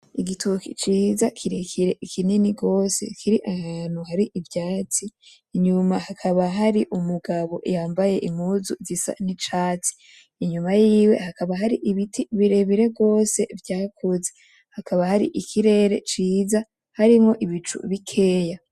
Igitoki ciza kirekire kinini gose kiri ahantu hari ivyatsi, inyuma hakaba hari umugabo yambaye impuzu zisa n'icatsi, inyuma yiwe hakaba hari ibiti birebire gose vyakuze, hakaba hari ikirere ciza harimwo ibicu bikeya.